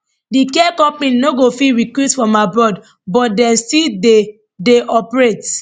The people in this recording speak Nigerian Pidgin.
di care company no go fit recruit from abroad but dem still dey dey operate